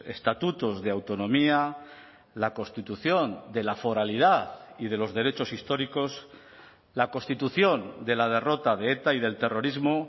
estatutos de autonomía la constitución de la foralidad y de los derechos históricos la constitución de la derrota de eta y del terrorismo